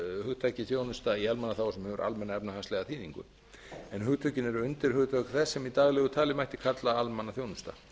hugtakið þjónusta í almannaþágu sem hefur almenna efnahagslega þýðingu en hugtökin eru undirhugtök þess sem í daglegu tali mætti kalla almannaþjónusta